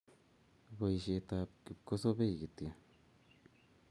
Boisietab kipkosobei kityo